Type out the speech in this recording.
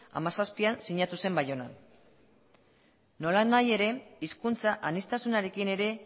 hamazazpian sinatu zen baionan nolanahi ere hizkuntza aniztasunarekin ere